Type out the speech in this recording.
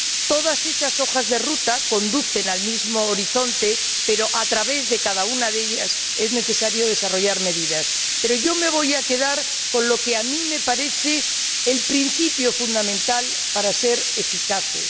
Todas esas hojas de ruta conducen al mismo horizonte, pero a través de cada una de ellas es necesario desarrollar medidas. Pero yo me voy a quedar con lo que a mí me parece el principio fundamental para ser eficaces.